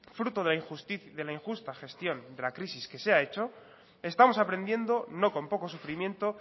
fruto de la injusta gestión de la crisis que se ha hecho estamos aprendiendo no con poco sufrimiento